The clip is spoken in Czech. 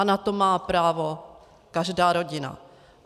A na to má právo každá rodina.